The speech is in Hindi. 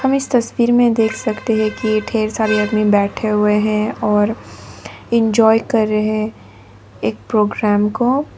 हम इस तस्वीर में देख सकते हैं की ढेर सारे आदमी बैठे हुए हैं और इंजॉय कर रहे हैं एक प्रोग्राम को।